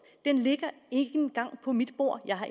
den ligger ikke engang på mit bord jeg har